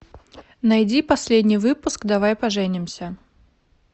найди последний выпуск давай поженимся